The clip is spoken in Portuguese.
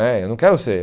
né Eu não quero ser.